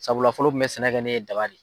Sabula fɔlɔ u kun bɛ sɛnɛ kɛ ni daba de ye.